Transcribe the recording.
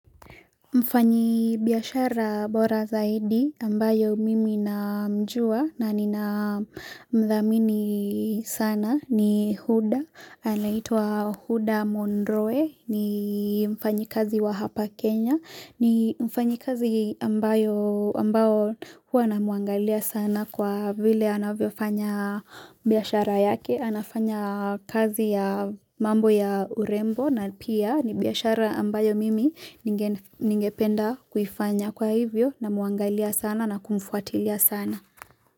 Mfanyi biyashara bora zaidi ambayo mimi na mjua na nina mdhamini sana ni Huda, anaitwa Huda Monroe, ni mfanyi kazi wa hapa Kenya, ni mfanyi kazi ambayo ambayo hua na muangalia sana kwa vile anavyo fanya biashara yake, anafanya kazi ya mambo ya urembo, na pia nibiashara ambayo mimi ninge penda kuifanya kwa hivyo na muangalia sana na kumfuatilia sana.